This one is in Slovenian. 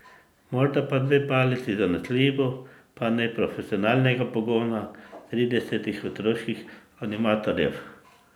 Morda pa dve palici, zanesljivo pa ne profesionalnega pogona tridesetih otroških animatorjev.